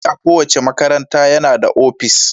Babban malami a kowace makaranta yana da opis.